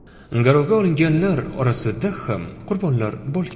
Garovga olinganlar orasida ham qurbonlar bo‘lgan.